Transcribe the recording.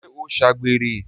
ṣé ó ṣàgbèrè?